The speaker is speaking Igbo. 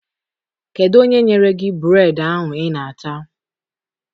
Kedụ onye nyere gị bureedị ahụ I na-ata?